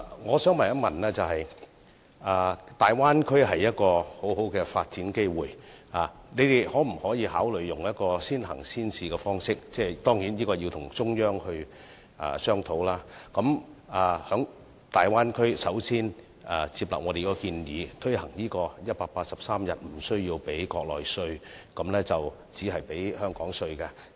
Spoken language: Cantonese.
我想問，大灣區會提供很好的發展機會，當局可否考慮採用先行先試的方式——當然，這要與中央商討——先接納我們的建議，讓在大灣區工作超過183天的港人無須繳付國內稅，只繳付香港稅？